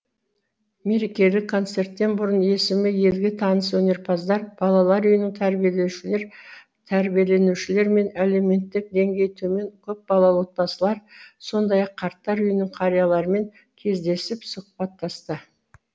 мерекелік концерттен бұрын есімі елге таныс өнерпаздар балалар үйінің тәрбиеленушілері мен әлеуметтік деңгейі төмен көпбалалы отбасылар сондай ақ қарттар үйінің қарияларымен кездесіп сұхбаттасты